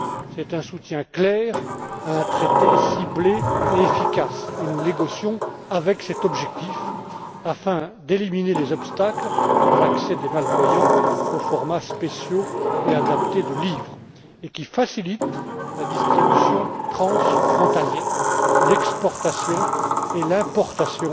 C'est un soutien clair à un traité ciblé et efficace et nous négocions avec cet objectif afin d'éliminer les obstacles à l'accès des malvoyants aux formats spéciaux et adaptés de livres un traité qui facilite la distribution transfrontalière, l'exportation et l'importation